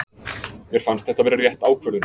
Mér fannst þetta vera rétt ákvörðun.